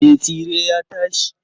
Me tsire ya tashi.